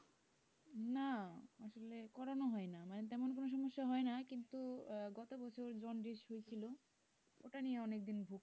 না আসলে করানো হয় না না মানে তেমন কোন সমস্যা হয় না কিন্তু গত বছর জন্ডিস হয়েছিল এটা নিয়ে অনেকদিন ভুগতে হয়েছিল।